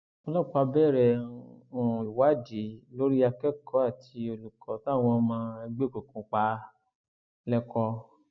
ọlọpàá bẹrẹ um ìwádìí lórí akẹkọọ àti olùkọ táwọn ọmọ ẹgbẹ òkùnkùn pa lẹkọọ um